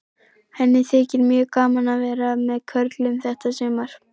Henni þykir mjög gaman að vera með körlunum þetta sumar.